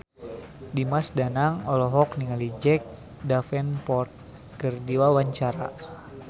Dimas Danang olohok ningali Jack Davenport keur diwawancara